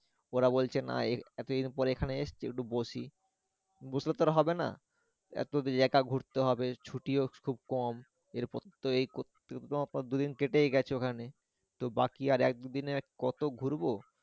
ওরা বলছে না এতোদিন পরে এখানে এসেছি একটু বসি বসলে তো হবে না এতদিন একা ঘুরতে হবে ছুটিও খুব কম এরপর তো এই করতে দুদিন কেটে গেছে ওখানে তো বাকি আর একদিনে কতো ঘুরবো।